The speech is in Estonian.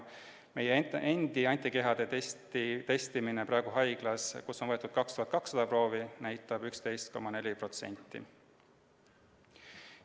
Meie enda korraldatav antikehade testimine, mille käigus praegu on haiglas võetud 2200 proovi, näitab tulemust 11,4%.